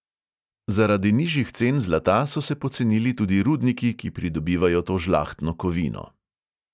Zaradi nižjih cen zlata so se pocenili tudi rudniki, ki pridobivajo to žlahtno kovino.